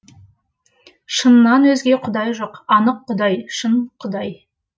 шыннан өзге құдай жоқ анық құдай шын құдай